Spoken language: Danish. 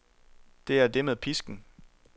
Det er det med pisken.